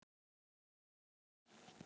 Á móti